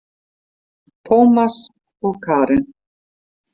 Tómas og Karen.